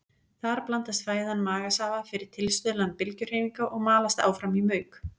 Þar blandast fæðan magasafa fyrir tilstuðlan bylgjuhreyfinga og malast áfram í mauk.